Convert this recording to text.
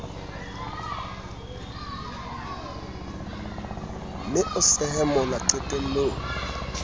mme o sehe mola qetellong